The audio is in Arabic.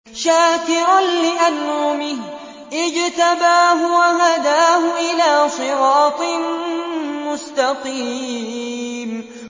شَاكِرًا لِّأَنْعُمِهِ ۚ اجْتَبَاهُ وَهَدَاهُ إِلَىٰ صِرَاطٍ مُّسْتَقِيمٍ